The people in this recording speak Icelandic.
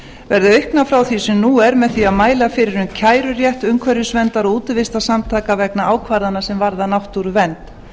verði auknir frá því sem nú er með því að mæla fyrir um kærurétt umhverfisverndar og útivistarsamtaka vegna ákvarðana sem varða náttúruvernd